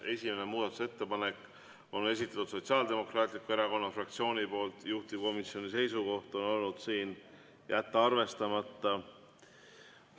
Esimene muudatusettepanek on esitatud Sotsiaaldemokraatliku Erakonna fraktsiooni poolt, juhtivkomisjoni seisukoht on olnud jätta arvestamata.